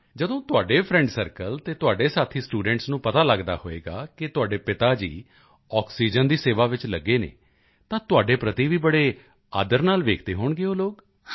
ਜਦੋਂ ਤੁਹਾਡੇ friend circle ਅਤੇ ਤੁਹਾਡੇ ਸਾਥੀ ਸਟੂਡੈਂਟਸ ਨੂੰ ਪਤਾ ਲੱਗਦਾ ਹੋਵੇਗਾ ਕਿ ਤੁਹਾਡੇ ਪਿਤਾ ਜੀ ਆਕਸੀਜਨ ਦੀ ਸੇਵਾ ਵਿੱਚ ਲੱਗੇ ਹਨ ਤਾਂ ਤੁਹਾਡੇ ਪ੍ਰਤੀ ਵੀ ਬੜੇ ਆਦਰ ਨਾਲ ਵੇਖਦੇ ਹੋਣਗੇ ਉਹ ਲੋਕ